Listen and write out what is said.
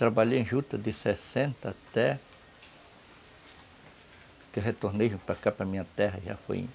Trabalhei em juta de sessenta até... que eu retornei para cá, para minha terra, já foi em